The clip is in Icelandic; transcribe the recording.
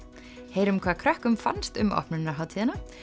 heyrum hvað krökkum fannst um opnunarhátíðina